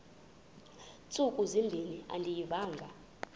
ntsuku zimbin andiyivanga